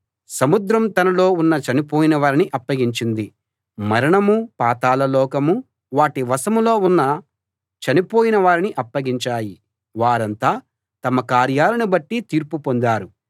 సముద్రం తనలో ఉన్న చనిపోయిన వారిని అప్పగించింది మరణమూ పాతాళ లోకమూ వాటి వశంలో ఉన్న చనిపోయిన వారిని అప్పగించాయి వారంతా తమ కార్యాలను బట్టి తీర్పు పొందారు